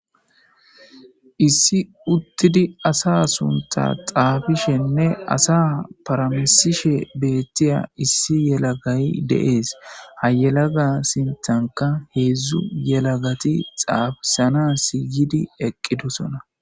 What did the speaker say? Issi uttidi asa sunththa xaapishenne asa paramisishe de7iya issi yelagay de7ees ha yelaga sinthani hedzdzu yelagati xaapisanas sinththan eqqidi doosina.